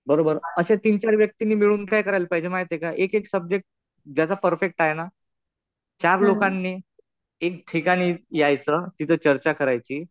बरोबर. अशा तीन-चार व्यक्तींनी मिळून काय करायला पाहिजे माहितीये का एक एक सब्जेक्ट ज्याचा परफेक्ट आहे ना चार लोकांनी एक ठिकाणी यायचं. तिथं चर्चा करायची.